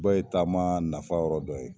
bɛɛ ye taama nafa yɔrɔ dɔ ye.